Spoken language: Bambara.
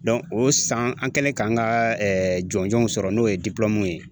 o san an kɛlen k'an ka jɔnjɔnw sɔrɔ n'o ye ye